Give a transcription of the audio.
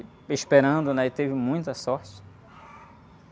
Esperando, né? E teve muita sorte.